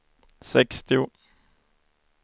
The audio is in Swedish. sextio